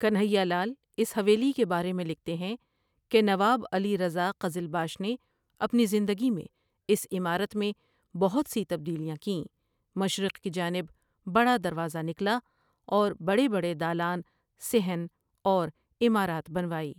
کنہیا لال اس حویلی کے بارے میں لکھتے ہیں کہ نواب علی رضا قزلباش نے اپنی زندگی میں اس عمارت میں بہت سی تبدیلیاں کیں مشرق کی جانب بڑا دروازہ نکلا اور بڑے بڑے دالان، صحن اور عمارات بنوائی۔